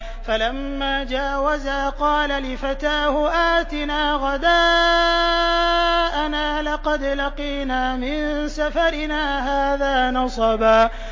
فَلَمَّا جَاوَزَا قَالَ لِفَتَاهُ آتِنَا غَدَاءَنَا لَقَدْ لَقِينَا مِن سَفَرِنَا هَٰذَا نَصَبًا